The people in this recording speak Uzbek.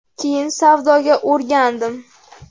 Keyin savdoga o‘rgandim.